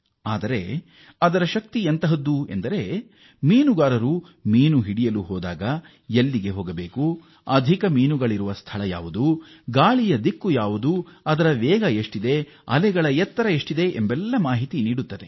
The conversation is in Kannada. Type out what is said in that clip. ಆದರೆ ಅದು ಎಷ್ಟು ಶಕ್ತಿಶಾಲಿ ಎಂದರೆ ಮೀನುಗಾರರು ಮೀನು ಹಿಡಿಯಲು ಸಮುದ್ರದ ನೀರಿಗೆ ಇಳಿದಾಗ ಈ ಆಪ್ ಹೆಚ್ಚು ಉತ್ಪಾದಕತೆಯ ಸ್ಥಳಗಳ ಬಗ್ಗೆ ಮಾರ್ಗದರ್ಶನ ಮಾಡುತ್ತದೆ ಮತ್ತು ಅಲ್ಲದೆ ಗಾಳಿಯ ರಭಸದ ವೇಗ ದಿಕ್ಕು ಅಲೆಗಳ ಎತ್ತರ ಮೊದಲಾದ ಹಲವು ಮಾಹಿತಿಯನ್ನೂ ಒದಗಿಸುತ್ತದೆ